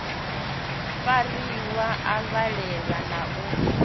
fariwa a valelwa na u